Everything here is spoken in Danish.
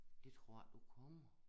Det tror jeg ik du kommer